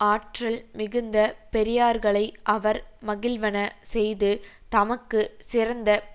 ஆற்றல் மிகுந்த பெரியார்களை அவர் மகிழ்வன செய்து தமக்கு சிறந்த